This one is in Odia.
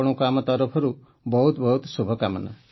ଆପଣଙ୍କୁ ଆମ ତରଫରୁ ବହୁତ ବହୁତ ଶୁଭକାମନା